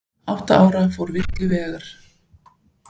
Átta ára fór villur vega